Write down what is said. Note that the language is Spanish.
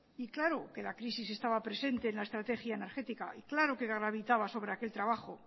y claro que la crisis estaba presente en la estrategia energética y claro que gravitaba sobre aquel trabajo